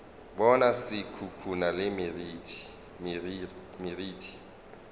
bona se khukhuna le meriti